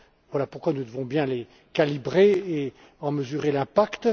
Voilà pourquoi nous devons bien les calibrer et en mesurer l'impact